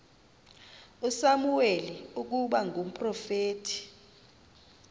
usamuweli ukuba ngumprofeti